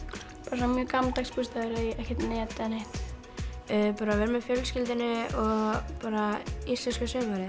bara mjög gamaldags bústaður ekkert net eða neitt að vera með fjölskyldunni og bara íslenska sumarið